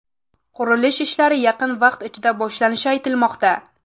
Qurilish ishlari yaqin vaqt ichida boshlanishi aytilmoqda.